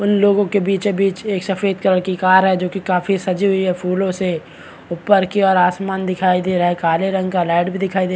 उन लोगो के बीचो बीच सफ़ेद कलर की कार है जो की जोकि काफी सजी हुई है फूलो से और ऊपर की ओर आसमान दिखाई दे रही है काले रंग क लाइट का दिखाई दे--